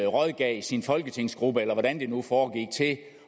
rådgav sin folketingsgruppe eller hvordan det nu foregik til at